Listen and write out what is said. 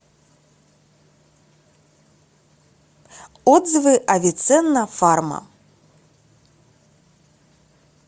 отзывы авиценна фарма